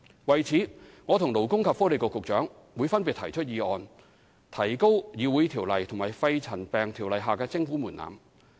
為此，我和勞工及福利局局長會分別提出議案，以提高《條例》及《肺塵埃沉着病及間皮瘤條例》下的徵款門檻。